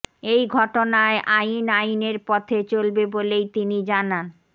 এই ঘটনায় আইন আইনের পথে চলবে বলেই তিনি জানান